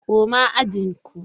Koma ajin ku!